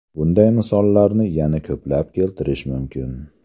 Bunday misollarni yana ko‘plab keltirish mumkin.